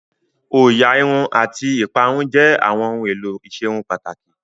Òyà Irun àti ìparun jẹ́ àwọn ohun èlò ìserun pàtàkì